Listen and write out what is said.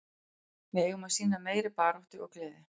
Við eigum að sýna meiri baráttu og gleði.